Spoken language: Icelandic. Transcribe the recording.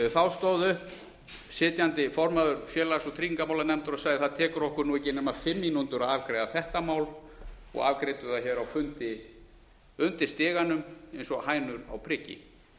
þá stóð upp sitjandi formaður félags og tryggingamálanefndar og sagði það tekur okkur nú ekki nema fimm mínútur að afgreiða þetta mál og afgreiddi það hér á fundi undir stiganum eins og hænur á priki